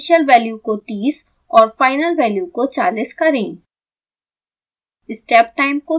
initial value को 30 और final value को 40 करें